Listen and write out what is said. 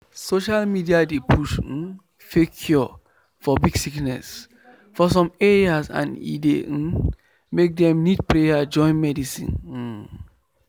social media dey push um fake cure for big sickness for some areas and e dey um make dem need prayer join medicine. um